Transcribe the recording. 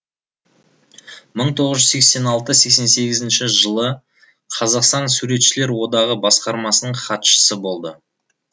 мың тоғыз жүз сексен алты сексен сегізінші жылы қазақстан суретшілер одағы басқармасының хатшысы болды